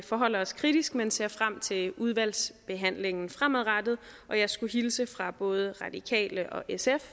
forholder os kritisk men ser frem til udvalgsbehandlingen fremadrettet og jeg skulle hilse fra både radikale og sf